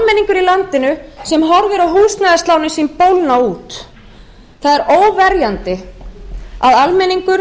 í landinu sem horfir á húsnæðislánin sín bólgna út það er óverjandi að almenningur